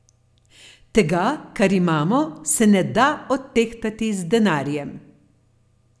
Tega, kar imamo, se ne da odtehtati z denarjem!